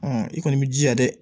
i kɔni b'i jija dɛ